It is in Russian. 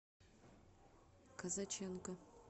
казаченко